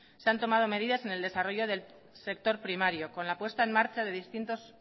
se han tomado medidas en el desarrollo del sector primario con la puesta en marca de distintos